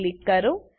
પર ક્લિક કરો